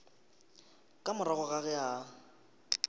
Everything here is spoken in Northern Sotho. ka morago ga ge a